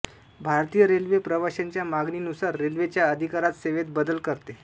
भारतीय रेल्वे प्रवाश्यांच्या मागणीनुसार रेल्वे च्या अधिकारात सेवेत बदल करते